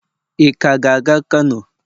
ị ka ga-aga kano?